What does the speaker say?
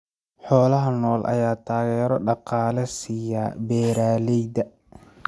Xoolaha nool ayaa taageero dhaqaale siiya beeralayda.